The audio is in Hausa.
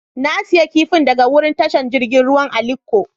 Na siya kifin daga wurin tashar jirigin ruwan a'lkko.